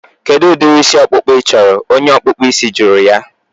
Kedụ udiri isi ọkpụkpụ I chọrọ? Onye ọkpụ isi jụrụ ya